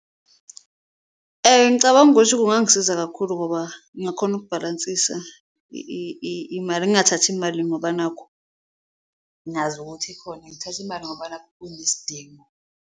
Ngicabanga ukuthi kungangisiza kakhulu ngoba ngingakhona ukubhalansisa imali, ngingathathi imali ngoba nakhu ngazi ukuthi ikhona, ngithathe imali ngoba nakhu kunesidingo.